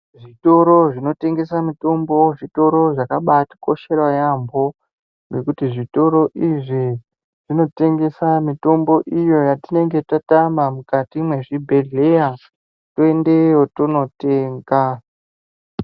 Zvitoro zvinotengesa mitombo, zvitoro zvakabatikoshera yambo, ngekuti zvitoro izvi zvinotengesa mitombo iyo yatinenge tatama mukati mwezvibhedhleya, toyendeyo tonotenga.